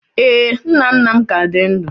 Ee, nna nna m ka dị ndụ